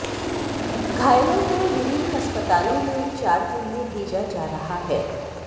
घायलों को विभिन्न अस्पतालों में उपचार के लिए भेजा जा रहा है